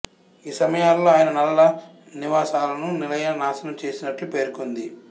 ఈ సమయాలలో ఆయన నలాల నివాసాలను నిలయ నాశనం చేసినట్లు పేర్కొంది